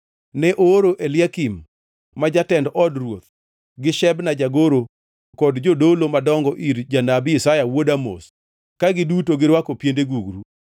Ne ooro Eliakim ma jatend od ruoth, gi Shebna jagoro kod jodolo madongo ir janabi Isaya wuod Amoz ka giduto girwako piende gugru.